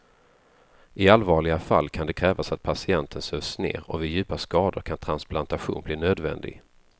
I allvarliga fall kan det krävas att patienten sövs ner och vid djupa skador kan transplantation bli nödvändig.